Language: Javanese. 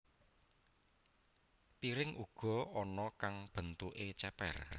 Piring uga ana kang bentuké cépér